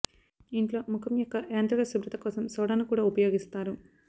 ఇంట్లో ముఖం యొక్క యాంత్రిక శుభ్రత కోసం సోడాను కూడా ఉపయోగిస్తారు